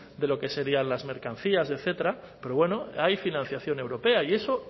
de lo que serían las mercancías etcétera pero bueno hay financiación europea y eso